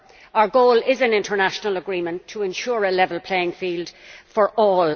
Our goal is an international agreement to ensure a level playing field for all.